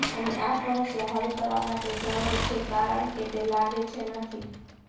અને આ સમસ્યા હલ કરવા માટે સરળ છે કારણ કે તે લાગે છે નથી